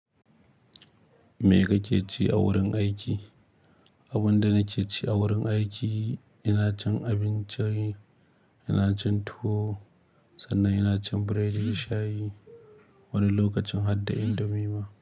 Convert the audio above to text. Me kake ci a wurin aiki? Abin da nake ci a wurin aiki, ina cin abinci, ina cin tuwo sannan ina cin biredi da shayi wani lokacin hadda indomi ma.